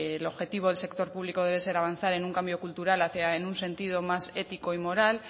el objetivo del sector público debe ser avanzar en un cambio cultural hacia en un sentido más ético y moral